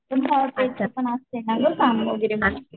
पण च पण असतंय ना काम वगैरे मला.